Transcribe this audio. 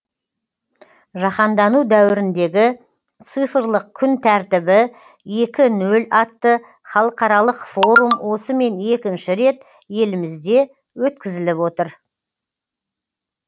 жаһандану дәуіріндегі цифрлық күн тәртібі екі нөл атты халықаралық форум осымен екінші рет елімізде өткізіліп отыр